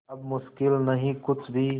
अब मुश्किल नहीं कुछ भी